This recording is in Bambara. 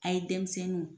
A ye denmisɛnninw